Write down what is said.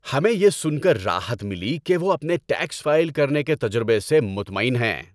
ہمیں یہ سن کر راحت ملی کہ وہ اپنے ٹیکس فائل کرنے کے تجربے سے مطمئن ہیں۔